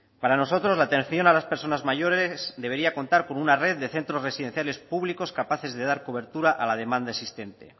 para nosotros la atención a las personas mayores debería contar con una red de centros residenciales públicos capaces de dar cobertura a la demanda existente